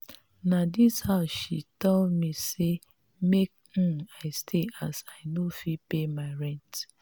na dis house she tell me sey make um i stay as i no fit pay my rent.